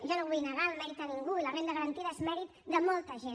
jo no vull negar el mèrit a ningú i la renda garantida és mèrit de molta gent